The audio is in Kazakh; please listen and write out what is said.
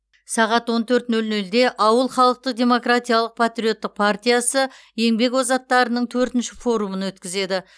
сағат он төрт нөл нөлде ауыл халықтық демократиялық патриоттық партиясы еңбек озаттарының төртінші форумын өткізеді